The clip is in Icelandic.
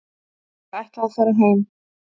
Ég ætla að fara heim.